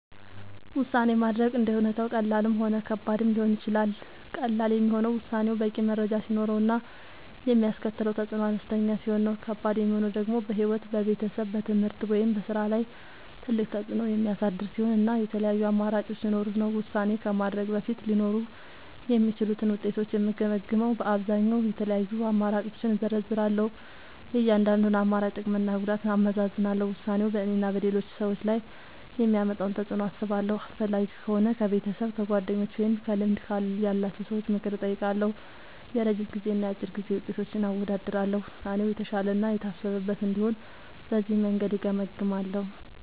ውሳኔ ማድረግ እንደ ሁኔታው ቀላልም ሆነ ከባድም ሊሆን ይችላል። ቀላል የሚሆነው ውሳኔው በቂ መረጃ ሲኖረው እና የሚያስከትለው ተፅዕኖ አነስተኛ ሲሆን ነው። ከባድ የሚሆነው ደግሞ በሕይወት፣ በቤተሰብ፣ በትምህርት ወይም በሥራ ላይ ትልቅ ተፅዕኖ የሚያሳድር ሲሆን እና የተለያዩ አማራጮች ሲኖሩት ነው። ውሳኔ ከማድረግ በፊት ሊኖሩ የሚችሉትን ውጤቶች የምገመግመዉ በአብዛኛዉ፦ የተለያዩ አማራጮችን እዘረዝራለሁ። የእያንዳንዱን አማራጭ ጥቅምና ጉዳት አመዛዝናለሁ። ውሳኔው በእኔና በሌሎች ሰዎች ላይ የሚያመጣውን ተፅዕኖ አስባለሁ። አስፈላጊ ከሆነ ከቤተሰብ፣ ከጓደኞች ወይም ከልምድ ያላቸው ሰዎች ምክር እጠይቃለሁ። የረጅም ጊዜና የአጭር ጊዜ ውጤቶችን አወዳድራለሁ። ውሳኔው የተሻለ እና የታሰበበት እንዲሆን በዚህ መንገድ እገመግማለሁ።